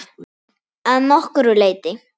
Að nokkru leyti.